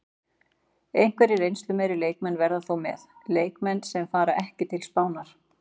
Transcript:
Einhverjir reynslumeiri leikmenn verða þó með, leikmenn sem fara ekki til Spánar.